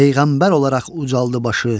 peyğəmbər olaraq ucaldı başı.